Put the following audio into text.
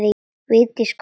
Vigdís kom aftur.